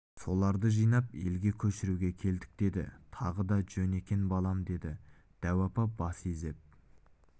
соларды жинап елге көшіруге келдік деді тағы да жөн екен балам деді дәу апа бас изеп